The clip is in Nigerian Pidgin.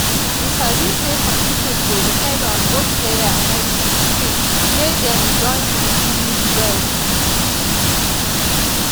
you sabi say some people dey depend on both prayer and medicine to feel say dem don really well.